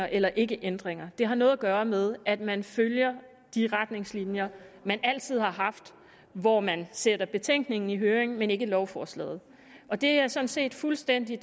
eller ikkeændringer det har noget at gøre med at man følger de retningslinjer man altid har haft hvor man sender betænkningen i høring men ikke lovforslaget og det er sådan set fuldstændig